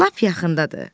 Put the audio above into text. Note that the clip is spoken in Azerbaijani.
Lap yaxındadır.